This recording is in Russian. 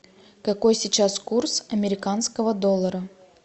какой сейчас курс американского доллара